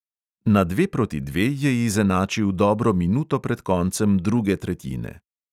Na dve proti dve je izenačil dobro minuto pred koncem druge tretjine.